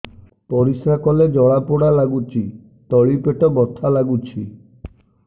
ପରିଶ୍ରା କଲେ ଜଳା ପୋଡା ଲାଗୁଚି ତଳି ପେଟ ବଥା ଲାଗୁଛି